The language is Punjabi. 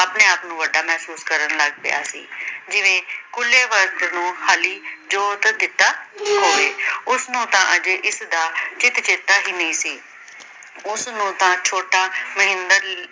ਆਪਣੇ ਆਪ ਨਾਲੋਂ ਵੱਡਾ ਮਹਿਸੂਸ ਕਰਨ ਲੱਗ ਪਿਆ ਸੀ ਜਿਵੇਂ ਖੁਲੇ ਬਰਤ ਨੂੰ ਖਾਲੀ ਜੋਤ ਦਿੱਤਾ ਹੋਵੇ। ਉਸਨੂੰ ਤਾਂ ਅਜੇ ਇਸਦਾ ਚਿਤ ਚੇਤਾ ਹੀ ਨਹੀਂ ਸੀ। ਉਸਨੂੰ ਤਾਂ ਛੋਟਾ